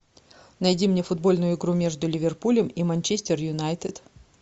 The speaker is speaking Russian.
найди мне футбольную игру между ливерпулем и манчестер юнайтед